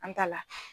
An ta la